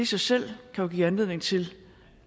sig selv kan jo give anledning til